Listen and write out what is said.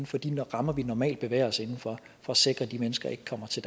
for de rammer vi normalt bevæger os for at sikre at de mennesker ikke kommer til